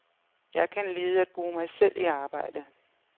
Jeg kan lide at bruge mig selv i arbejdet.